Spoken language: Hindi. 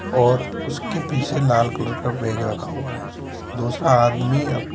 और उसके पीछे लाल कलर का बैग रखा हुआ है दूसरा आदमी अब --